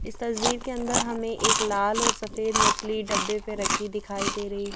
इस तस्वीर के अंदर हमें एक लाल और सफेद मछली डब्बे पर रखी दिखाई दे रही है।